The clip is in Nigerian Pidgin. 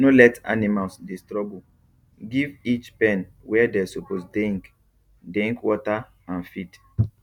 no let animals dey struggle give each pen where they suppose deink deink water and feed